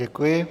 Děkuji.